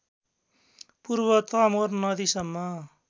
पूर्व तमोर नदीसम्म